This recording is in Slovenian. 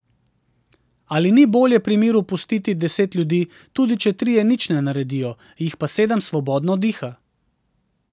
Ali ni bolje pri miru pustiti deset ljudi, tudi če trije nič ne naredijo, jih pa sedem svobodno diha?